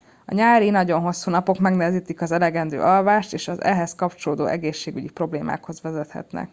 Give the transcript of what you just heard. a nyári nagyon hosszú napok megnehezítik az elegendő alvást és az ehhez kapcsolódó egészségügyi problémákhoz vezethetnek